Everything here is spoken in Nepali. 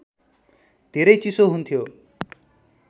धेरै चिसो हुन्थ्यो